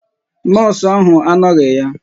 Nọọsụ ahụ anoghi ya.